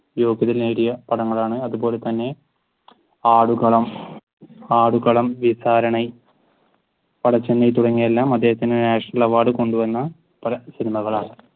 യോഗ്യത നേടിയ പടങ്ങളാണ്. അതുപോലെ തന്നെ ആടുകളം ആടുകളം തുടങ്ങിയവയെല്ലാം അദ്ദേഹത്തിന് national award കൊണ്ടുവന്ന പല സിനിമകളാണ്